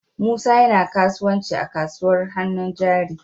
Musa yana kasuwanci a kasuwar hannun jari.